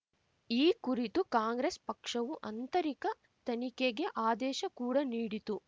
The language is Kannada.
ಈ ಕುರಿತು ಕಾಂಗ್ರೆಸ್‌ ಪಕ್ಷವು ಅಂತರಿಕ ತನಿಖೆಗೆ ಆದೇಶ ಕೂಡ ನೀಡಿತು